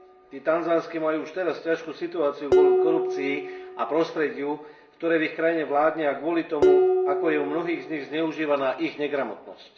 Tí tanzánski majú už teraz ťažkú situáciu kvôli korupcii a prostrediu, ktoré v ich krajine vládne, a kvôli tomu, ako je u mnohých z nich zneužívaná ich negramotnosť.